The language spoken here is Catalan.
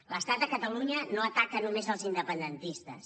l’estat a catalunya no ataca només els independentistes